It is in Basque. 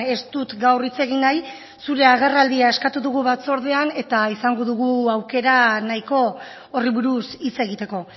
ez dut gaur hitz egin nahi zure agerraldia eskatu dugu batzordean eta izango dugu aukera nahiko horri buruz hitz egiteko